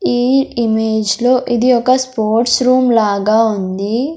ఈ ఇమేజ్ లో ఇది ఒక స్పోర్ట్స్ రూమ్ లాగా ఉంది.